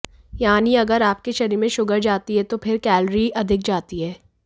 यानी अगर आपके शरीर में शुगर जाती है तो फिर कैलोरी अधिक जाती है